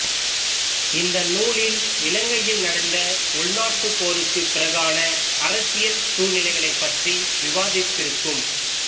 இந்த நூலில் இலங்கையில் நடந்த உள்நாட்டுப் போருக்குப் பிறகான அரசியல் சூழ்நிலைகளைப் பற்றி விவாதித்திருக்கும்